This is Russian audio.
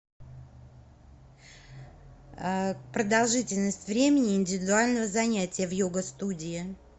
продолжительность времени индивидуального занятия в йога студии